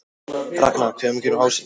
Ragnar, hvenær kemur ásinn?